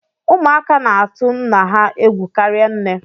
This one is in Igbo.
Ụmụaka na-atụ nna ha egwu karịa nne